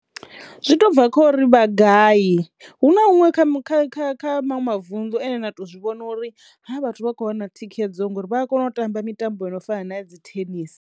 Zwi to bva khori vha gayi hu na huṅwe kha mu kha kha kha maṅwe mavuṋdu ane na to zwivhona uri ha vha vhathu vha kho wana thikhedzo ngori vha a kono u tamba mitambo ino fana na ya dzi thenisi.